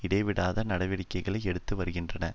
இடைவிடாது நடவடிக்கைகளை எடுத்து வருகின்றன